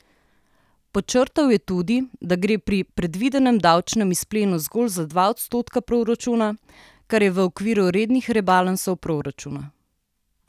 Podčrtal je tudi, da gre pri predvidenem davčnem izplenu zgolj za dva odstotka proračuna, kar je v okviru rednih rebalansov proračuna.